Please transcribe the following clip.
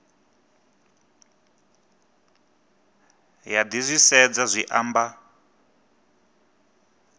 ya zwi disedza zwi amba